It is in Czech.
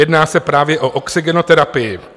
Jedná se právě o oxygenoterapii.